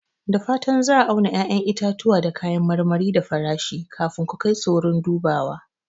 Da fatan za a auna ƴaƴan itatuwa da kayan marmari da farashi kafin ku kai su wurin dubawa.